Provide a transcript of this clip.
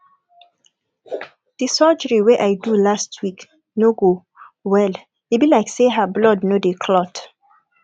the surgery wey i do last week no go well e be like say her blood no dey clot